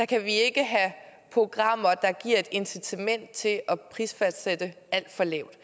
kan vi ikke have programmer der giver et incitament til at prisfastsætte alt for lavt